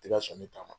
Tɛ ka sɔn ne ta ma